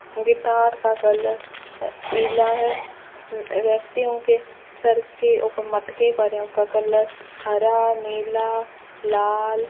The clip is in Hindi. गिटार का कलर पीला है व्यक्तियों के सर के ऊपर मटके पड़े हैं उसका कलर हरा नीला लाल --